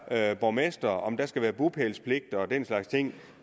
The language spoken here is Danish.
her borgmestre og om der skal være bopælspligt og den slags ting